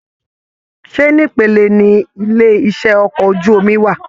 Ṣe nipele ní ilé iṣẹ okọ̀ ojú omi wà?